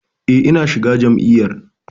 E, na shiga jam'iyyar.